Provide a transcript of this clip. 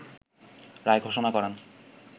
রায় ঘোষণা করেন